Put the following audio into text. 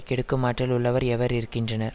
கெடுக்கும் ஆற்றல் உள்ளவர் எவர் இருக்கின்றனர்